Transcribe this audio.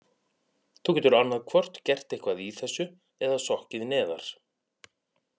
Þú getur annað hvort gert eitthvað í þessu eða sokkið neðar.